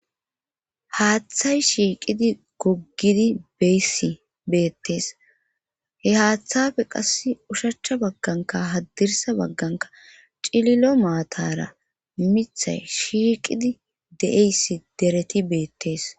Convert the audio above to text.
Haathay shiiqidi goggidi beyssi beettes he haattappe qassi ushachcha baggankka haddirssa baggankka cililo maataara mithay shiiqidi de7eyssi dereti beettes.